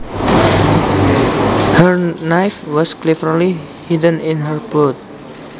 Her knife was cleverly hidden in her boot